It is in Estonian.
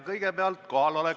Kõigepealt kohaloleku kontroll.